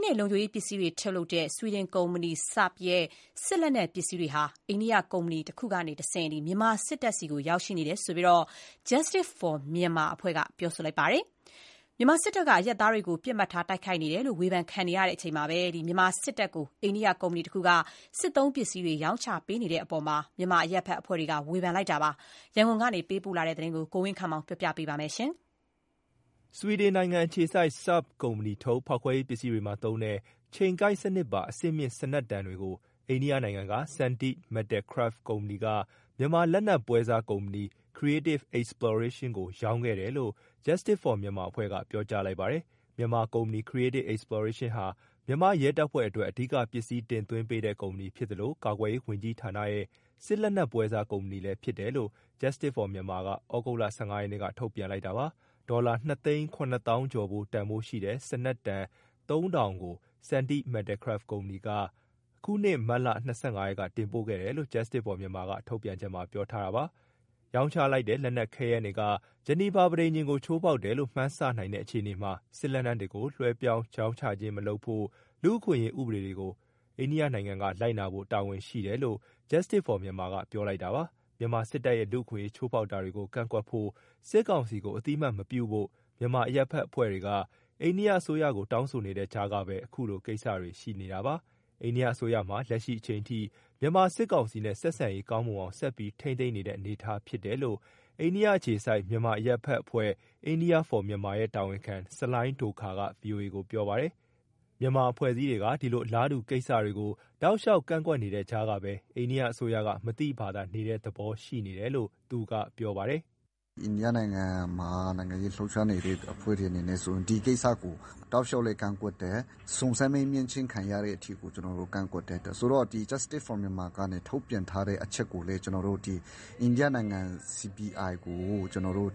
းနဲ့ လုံခြုံရေးပစ္စည်းတွေထုတ်လုပ်တဲ့ ဆွီဒင်ကုမ္ပဏီ Saab (ဆာ့ဘ်) ရဲ့ စစ်လက်နက်ပစ္စည်းတွေဟာ အိန္ဒိယကုမ္ပဏီကတဆင့် မြန်မာစစ်တပ်ဆီ ရောက်ရှိနေတယ်လို့ Justice For Myanmar ကပြောလိုက်ပါတယ်။ မြန်မာစစ်တပ်က အရပ်သားတွေကို ပစ်မှတ်ထား၊ တိုက်ခိုက်နေတယ်လို့ ဝေဖန်ခံနေရချိန်မှာ မြန်မာစစ်တပ်ကို အိန္ဒိယကုမ္ပဏီတခုက စစ်သုံးပစ္စည်းတွေ ရောင်းချနေတဲ့အပေါ် မြန်မာအရပ်ဘက်အဖွဲ့တွေက ဝေဖန်လိုက်ပါတယ်။ ရန်ကုန်ပေးပို့တဲ့ ဒီသတင်းကို ကိုဝင်းခန့်မောင်က တင်ပြပေးထားပါတယ်။ ဆွီဒင်နိုင်ငံအခြေစိုက် Sabb (ဆာ့ဘ်) ကုမ္ပဏီထုတ် ဖောက်ခွဲရေးပစ္စည်းတွေမှာသုံးတဲ့ ချိန်ကိုက်စနစ်ပါ အဆင့်မြင့်စနက်တံတွေကို အိန္ဒိယနိုင်ငံက Sandeep Metalcraft ကုမ္ပဏီက မြန်မာလက်နက်ပွဲစားကုမ္ပဏီ Creative Exploration ကို ရောင်းချခဲ့တယ်လို့ Justice For Myanmar က ပြောကြားလိုက်ပါတယ်။ မြန်မာကုမ္ပဏီ Creative Exploration ဟာ မြန်မာရဲတပ်ဖွဲ့အတွက် အဓိကပစ္စည်းတင်သွင်းပေးတဲ့ ကုမ္ပဏီဖြစ်သလို ကာကွယ်ရေးဝန်ကြီးဌာနရဲ့ စစ်လက်နက်ပွဲစားကုမ္ပဏီလည်းဖြစ်တယ်လို့ Justice For Myanmar က သြဂုတ်လ ၁၅ ရက်က ထုတ်ပြန်လိုက်တာပါ။ ဒေါ်လာ ၂ သိန်း ၇ သောင်းကျော်ဖိုး တန်ဖိုးရှိတဲ့ စနက်တံ ၃,၀၀၀ ကို Sandeep Metalcraft ကုမ္ပဏီက အခုနှစ် မတ်လ ၂၅ ရက်က တင်ပို့ခဲ့တယ်လို့ Justice For Myanmar ကထုတ်ပြန်ချက်မှာ ပြောထားပါတယ်။ ရောင်းချလိုက်တဲ့ လက်နက်ခဲယမ်းတွေက ဂျီနီဗာပဋိညာဉ်ကို ချိုးဖောက်တယ်လို့ မှန်းဆနိုင်တဲ့ အခြေအနေမှာ စစ်လက်နက်တွေကို လွှဲပြောင်းရောင်းချခြင်းမလုပ်ဖို့ လူ့အခွင့်အရေး ဥပဒေတွေကို အိန္ဒိယနိုင်ငံက လိုက်နာဖို့တာဝန်ရှိတယ်လို့ Justice For Myanmar က ပြောလိုက်တာပါ။ မြန်မာစစ်တပ်ရဲ့ လူ့အခွင့်အရေး ချိုးဖောက်တာတွေကို ကန့်ကွက်ဖို့၊ စစ်ကောင်စီကို အသိအမှတ် မပြုဖို့ မြန်မာအရပ်ဘက်အဖွဲ့တွေက အိန္ဒိယအစိုးရကို တောင်းဆိုနေတဲ့ကြားကပဲ အခုလိုကိစ္စတွေရှိနေတာပါ။ အိန္ဒိယအစိုးရဟာ လက်ရှိအချိန်အထိ မြန်မာစစ်ကောင်စီနဲ့ ဆက်ဆက်ရေးကောင်းမွန်အောင် ဆက်ပြီးထိန်းသိမ်းနေတဲ့အနေအထားဖြစ်တယ်လို့ အိန္ဒိယအခြေစိုက်တဲ့ မြန်မာအရပ်ဘက်အဖွဲ့ India For Myanmar ရဲ့တာဝန်ခံ ဆလိုင်းဒိုခါရ် (Salai Dokha) က ဗွီအိုအေကို ပြောပါတယ်။ မြန်မာအဖွဲ့အစည်းတွေက ဒီလိုအလားတူကိစ္စတွေကို တောက်လျှောက် ကန့်ကွက်နေတဲ့ကြားကပဲ အိန္ဒိယအစိုးက မသိဘာသာနေတဲ့သဘော ရှိနေတယ်လို့ သူကပြောပါတယ်။ “အိန္ဒိယနိုင်ငံမှာ နိုင်ငံရေးလှုပ်ရှားနေတဲ့ အဖွဲ့တွေအနေနဲ့ဆိုရင် ဒီကိစ္စကို တောက်လျှောက်လည်း ကန့်ကွက်တယ်။ စုံစမ်းမေးမြန်းခြင်းခံရတဲ့အထိကို ကျနော်တို့ ကန့်ကွက်တယ်။ Justice For Myanmar ကထုတ်ပြန်ထားတဲ့ အချက်ကိုလည်း အိန္ဒိယနိုင်ငံ CBI ကို ကျနော်တို့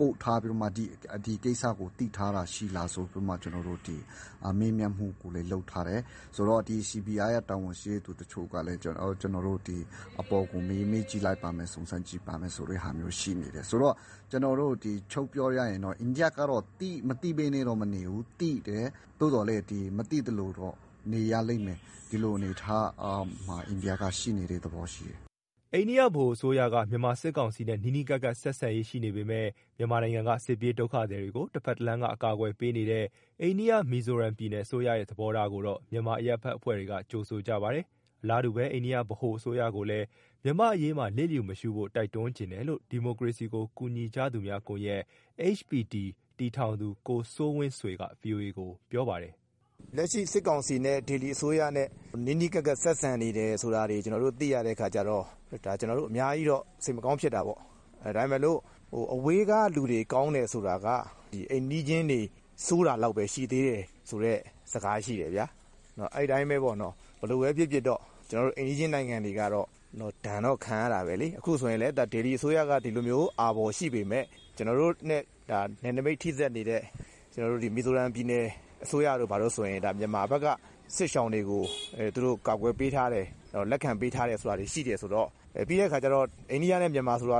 ပို့ထားပြီးတော့မှ ဒီကိစ္စကို သိထားတာရှိလားဆိုပြီး မေးမြန်းထားတယ်။ CBI ရဲ့တာဝန်ရှိသူတချို့ကလည်း အပေါ်ကို မေးကြည့်လိုက်ပါမယ်၊ စုံစမ်းကြည့်ပါမယ်ဆိုတာ ရှိနေတယ်။ ဆိုတော့ ချုံ့ပြောရရင် အိန္ဒိယက မသိဘဲနဲ့တော့မနေဘူး၊ သိတယ်။ သို့သော်လည်း မသိသလိုတော့ နေရလိမ့်မယ်၊ ဒီလိုအနေအထားမှာ အိန္ဒိယက ရှိနေတဲ့သဘောရှိတယ်။" အိန္ဒိယဗဟိုအစိုးရက မြန်မာစစ်ကောင်စီနဲ့ နီးနီးကပ်ကပ် ဆက်ဆံရေးရှိနေပေမယ့် မြန်မာနိုင်ငံက စစ်ပြေးဒုက္ခသည်တွေကို တဘက်တလမ်းကနေ အကာအကွယ်ပေးနေတဲ့ အိန္ဒိယ၊ မီဇိုရမ်ပြည်နယ်အစိုးရရဲ့ သဘောထားကိုတော့ မြန်မာအရပ်ဘက်အဖွဲ့တွေက ကြိုဆိုကြပါတယ်။ အလားတူပဲ အိန္ဒိယ ဗဟိုအစိုးရကိုလည်း မြန်မာ့အရေးမှာ လျှစ်လျူမရှုဖို့ တိုက်တွန်းချင်တယ်လို့ ဒီမိုကရေစီကို ကူညီကြသူများကွန်ရက် (HPD) တည်ထောင်သူ ကိုစိုးဝင်းဆွေက ဗွီအိုအေကို ပြောပါတယ်။ "လက်ရှိစစ်ကောင်စီနဲ့ ဒေလီအစိုးရနဲ့ နီးနီးကပ်ကပ် ဆက်ဆံနေတယ်ဆိုတာတွေ ကျနော်တို့ သိရတဲ့အခါကျတော့ ဒါ ကျနော်တို့ အများကြီးတော့ စိတ်မကောင်းဖြစ်တာပေါ့။ ဒါပေမဲ့လို့ အဝေးကလူတွေ ကောင်းတယ်ဆိုတာက အိမ်နီးချင်းတွေ ဆိုးတာလောက်ပဲရှိသေးတယ် ဆိုတဲ့ စကားရှိတယ်ဗျာ၊ အဲဒီအတိုင်းပဲ ဘယ်လိုပဲဖြစ်ဖြစ် အိမ်နီးချင်းနိုင်ငံတွေက ဒဏ်တော့ခံရတာပဲလေ။ ပြီးတဲ့အခါကျတော့ အိန္ဒိယနဲ့ မြန်မာဆိုတာ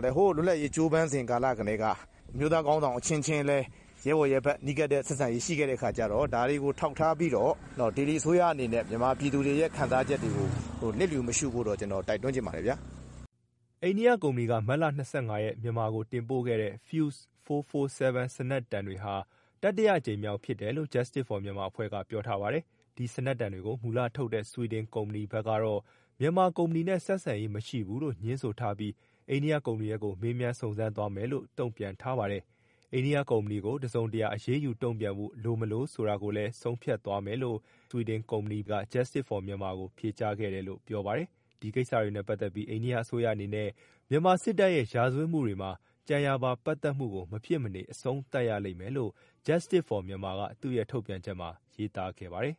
လည်း ဟိုးလွတ်လပ်ရေး ကြိုးပမ်းစဉ်ကာလကတည်းက အမျိုးသားခေါင်းဆောင် အချင်းချင်းလည်း ရဲဘော်ရဲဘက် နီးကပ်တဲ့ဆက်ဆံရေး ရှိခဲ့တဲ့အခါကျတော့ ဒါတွေကို ထောက်ထားပြီးတော့ ဒေလီအစိုးရအနေနဲ့ မြန်မာပြည်သူတွေရဲ့ ခံစားချက်တွေကို လျစ်လျူမရှုဖို့တော့ ကျနော် တိုက်တွန်းချင်ပါတယ်။" အိန္ဒိယကုမ္ပဏီက မတ်လ၂၅ ရက်က မြန်မာကိုတင်ပို့ခဲ့တဲ့ Fuze 447 စနက်တံတွေဟာ တတိယအကြိမ်မြောက် ဖြစ်တယ်လို့ Justice For Mynamar ကပြောထားပါတယ်။ ဒီစနက်တံတွေကို မူလထုတ်လုပ်တဲ့ ဆွီဒင်ကုမ္ပဏီဘက်ကတော့ မြန်မာကုမ္ပဏီနဲ့ ဆက်ဆံရေးမရှိဘူးလို့ ငြင်းဆိုထားပြီး အိန္ဒိယကုမ္ပဏီဘက်ကို မေးမြန်းစုံစမ်းသွားမယ်လို့ တုံ့ပြန်ထားပါတယ်။ အိန္ဒိယကုမ္ပဏီကို တစုံတရာ အရေးယူတုံ့ပြန်ဖို့ လိုမလိုဆိုတာကိုလည်း ဆုံးဖြတ်သွားမယ်လို့ ဆွီဒင်ကုမ္ပဏီက Justice For Myanmar ကို ဖြေကြားခဲ့တယ်လို့ ပြောပါတယ်။ ဒီကိစ္စတွေနဲ့ပတ်သက်ပြီး အိန္ဒိယအစိုးရအနေနဲ့ မြန်မာစစ်တပ်ရဲ့ ရာဇဝတ်မှုတွေမှာ ကြံရာပါပတ်သက်မှုကို မဖြစ်မနေအဆုံးသတ်ရလိမ့်မယ် လို့ Justice For Myanmar က သူ့ရဲ့ထုတ်ပြန်ချက်ထဲမှာ ရေးသားခဲ့ပါတယ်။